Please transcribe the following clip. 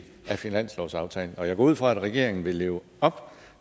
af finanslovsaftalen og jeg går ud fra at regeringen vil leve op